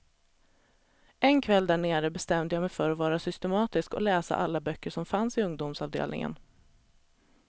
En kväll där nere bestämde jag mig för att vara systematisk och läsa alla böcker som fanns i ungdomsavdelningen.